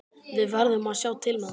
Við verðum að sjá til með það.